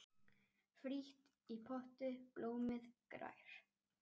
Frítt í potti blómið grær.